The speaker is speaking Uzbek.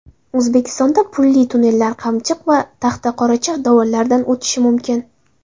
O‘zbekistonda pulli tunnellar Qamchiq va Taxtaqoracha dovonlaridan o‘tishi mumkin.